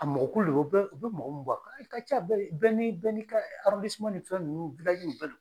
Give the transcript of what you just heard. A mɔgɔkulu bɛ u bɛ mɔgɔ mun bɔ ka ca bɛɛ ni bɛɛ n'i ka ni fɛn ninnuu